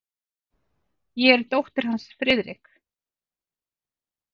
Ég er dóttir hans, Friðrik.